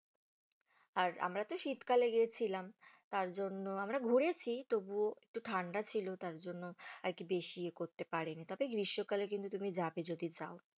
আর আমরা তো শীতকালে গিয়েছিলাম, তারজন্য আমরা ঘুরেছি তবুও একটু ঠান্ডা ছিল, তারজন্য আর কি বেশি এ করতে পারিনি, তবে গ্রীষ্মকালে কিন্তু তুমি যাবে যদি যাও।